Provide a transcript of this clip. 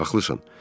Haqlısan.